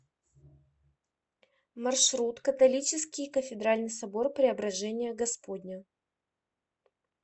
маршрут католический кафедральный собор преображения господня